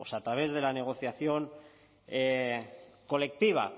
a través de la negociación colectiva